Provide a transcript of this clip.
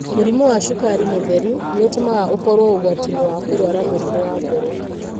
Mũrimũ wa cukari mũtheri nĩ ũtũmaga ũkorũo ũgwati-inĩ wa kũrũara mũrimũ wa ngoro.